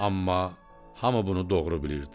amma hamı bunu doğru bilirdi.